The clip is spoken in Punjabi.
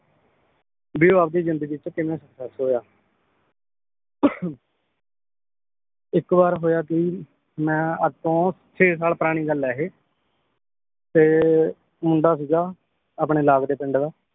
ਬੀ ਉਹ ਆਪ ਦੀ ਜਿੰਦਗੀ ਚ ਕਿੰਨਾਂ success ਹੋਇਆ ਇੱਕ ਵਾਰ ਹੋਇਆ ਕੀ ਮੈ ਅੱਜ ਤੋਂ ਛੇ ਸਾਲ ਪੁਰਾਣੀ ਗੱਲ ਆ ਇਹ ਤੇ ਮੁੰਡਾ ਸੀਗਾ ਆਪਣੇ ਲਾਭ ਦੇ ਪਿੰਡ ਦਾ